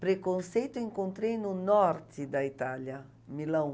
Preconceito eu encontrei no norte da Itália, Milão.